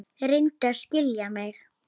Reyndu að skilja mig.